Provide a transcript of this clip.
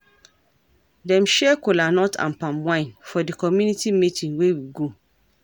Dem share cola nut and palm wine for di community meeting wey we go.